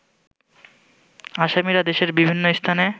আসামীরা দেশের বিভিন্ন স্থানে